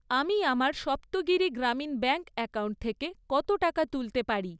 আমি আমার Saptagiri Grameen bank account থেকে কত টাকা তুলতে পারি?